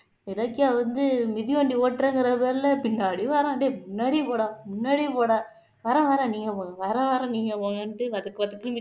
இலக்கிய வந்து மிதிவண்டி ஓட்டுறேங்கற பேர்ல பின்னாடி வர்றான் டேய் பின்னாடி போடா முன்னாடி போடா வரேன் வரேன் நீங்க போங்க வரேன் வரேன் நீங்க போங்கனுட்டு